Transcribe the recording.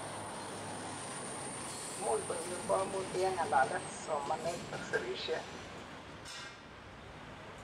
imuch konyor koimutik en ngalalet, somanet ak sirishet